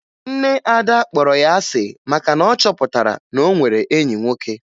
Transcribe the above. Nne Ada kpọrọ ya asị maka na ọ chọpụtara na o nwere enyi nwoke